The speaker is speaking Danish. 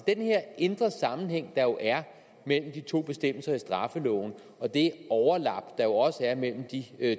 at den her indre sammenhæng der jo er mellem de to bestemmelser i straffeloven og det overlap der jo også er mellem de